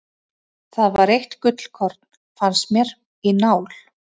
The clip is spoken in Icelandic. Það var eitt gullkorn, fannst mér, í nál.